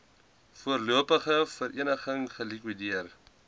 voorlopige vereniging gelikwideer